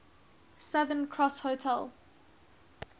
southern cross hotel